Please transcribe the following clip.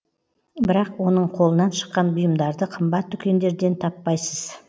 бірақ оның қолынан шыққан бұйымдарды қымбат дүкендерден таппайсыз